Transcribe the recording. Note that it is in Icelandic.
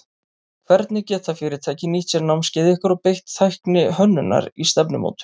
Hvernig geta fyrirtæki nýtt sér námskeið ykkar og beitt tækni hönnunar í stefnumótun?